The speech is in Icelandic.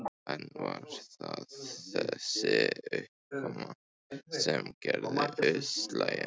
En var það þessi uppákoma sem gerði útslagið?